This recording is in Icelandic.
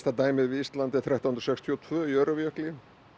dæmið við Ísland er þrettán hundruð sextíu og tvö í Öræfajökli